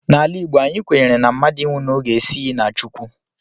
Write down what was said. N'ala Igbo, anyị kwenyere na mmadụ ịnwụ n'oge esighi na Chukwu